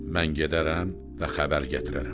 Mən gedərəm və xəbər gətirərəm.